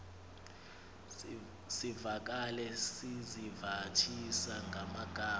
zivakale sizivathisa ngamagama